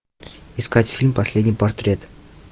искать фильм последний портрет